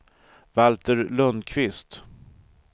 Valter Lundquist